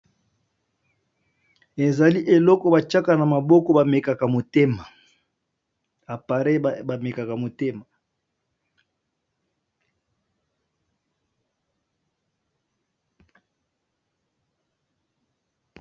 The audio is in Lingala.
Ezali eloko batiaka na maboko ba mekaka motema.